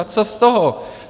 A co z toho?